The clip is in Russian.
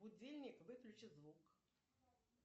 будильник выключи звук